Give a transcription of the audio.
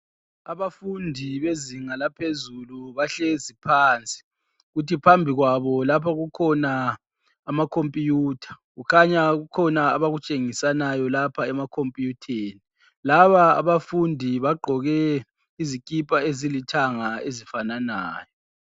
Abafundi bezinga laphezulu bahlezi phansi, kuthi phambi kwabo lapho kukhona amacomputer. Kukhanya kukhona abakutshengisanayo lapha ema computer theni. Laba abafundi bagqoke izikipa ezilithanga ezifananayo.